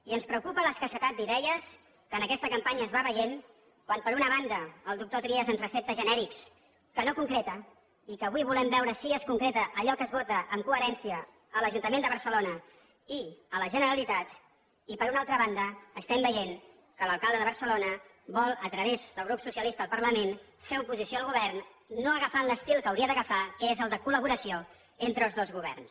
i ens preocupa l’escassetat d’idees que en aquesta campanya es va veient quan per una banda el doctor trias ens recepta genèrics que no concreta i que avui volem veure si es concreta allò que es vota amb coherència a l’ajuntament de barcelona i a la generalitat i per una altra banda estem veient que l’alcalde de barcelona vol a través del grup socialista al parlament fer oposició al govern no agafant l’estil que hauria d’agafar que és el de col·laboració entre els dos governs